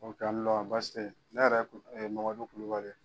Aw ni wula basi teyi ne yɛrɛ ye MAMADU KULUBALI ye.